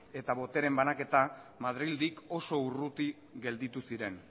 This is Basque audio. eta botereen banaketa madrildik oso urruti gelditu ziren